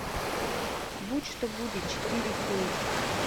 будь что будет четыре кей